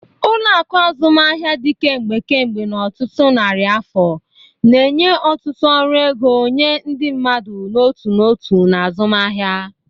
Ụlọ akụ azụmaahịa dị kemgbe kemgbe ọtụtụ narị afọ, na-enye ọtụtụ ọrụ ego nye ndị mmadụ n'otu n'otu na azụmaahịa.